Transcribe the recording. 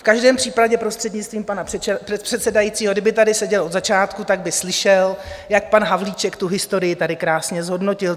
V každém případě, prostřednictvím pana předsedajícího, kdyby tady seděl od začátku, tak by slyšel, jak pan Havlíček tu historii tady krásně zhodnotil.